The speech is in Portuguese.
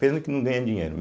Pena que não ganha dinheiro.